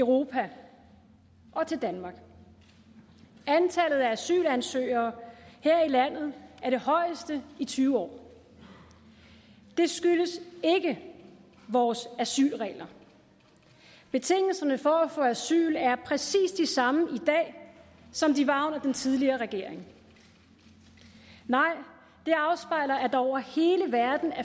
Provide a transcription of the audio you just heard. europa og til danmark antallet af asylansøgere her i landet er det højeste i tyve år det skyldes ikke vores asylregler betingelserne for at få asyl er præcis de samme i dag som de var under den tidligere regering nej det afspejler at der over hele verden er